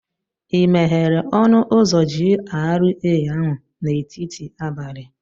Ị meghere ọnụ ụzọ GRA ahụ n'etiti abalị?